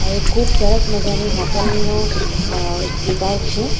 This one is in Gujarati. આ એક ખુબ સરસ મજાની હોટલ નુ અ સીટઆઉટ છે.